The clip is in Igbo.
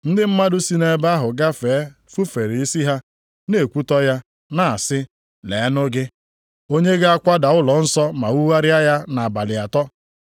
Ndị mmadụ si nʼebe ahụ gafee fufere isi ha na-ekwutọ ya, na-asị, “Leenụ gị! Onye ga-akwada ụlọnsọ ma wugharịa ya nʼabalị atọ.